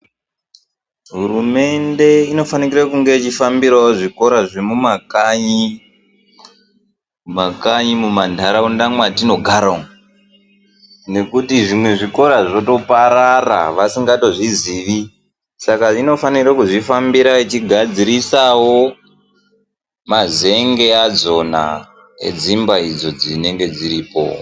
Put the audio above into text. Hurumende inofanirawo kunga yeifambira zvikora zvemumakanyi mumantaraunda mwatinogara umu nekuti zvimwe zvikora zvotoparara vasikatozviziyi saka inofana kudzifambirawo vachigadzirisawo mazenge adzona edzimba idzo dzinonga dziripo.